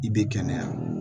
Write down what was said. I bɛ kɛnɛya